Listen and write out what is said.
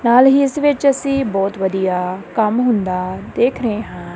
ਨਾਲ ਹੀ ਇਸ ਵਿੱਚ ਅਸੀਂ ਬਹੁਤ ਵਧੀਆ ਕੰਮ ਹੁੰਦਾ ਦੇਖ ਰਹੇ ਹਾਂ।